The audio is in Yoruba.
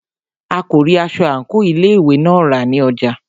A kò rí aṣọ àńkò ilé ìwé náà rà ní ọjà.